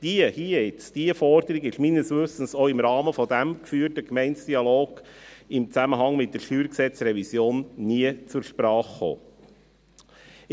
Diese Forderung ist, meines Wissens, auch im Rahmen dieses geführten Gemeindedialogs im Zusammenhang mit der StG-Revision nie zur Sprache gekommen.